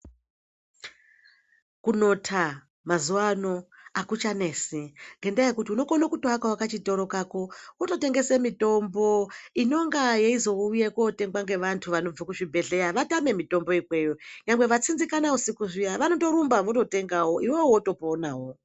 Kunotha mazuwano akuchanesi ngendaya yekuti unokona kutoakawo kachitoro kako wototengese mitombo inonga yeizouya kotenga ngevantu vanobve kuzvibhedhleya vatame mitombo ikweyo chero vatsinzikana usiku zviya vanotorumba vototengawo iwewe wotoponawo.